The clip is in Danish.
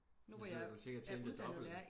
Nu hvor jeg er er uddannet lærer